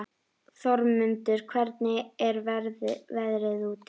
Þormundur, hvernig er veðrið úti?